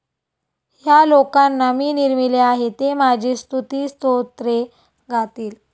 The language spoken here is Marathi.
ह्या लोकांना मी निर्मिले आहे. ते माझी स्तुतिस्तोत्रे गातील.